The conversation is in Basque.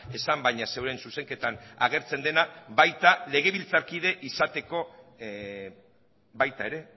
esan baina zeuen zuzenketan agertzen dena baita legebiltzarkide izateko baita ere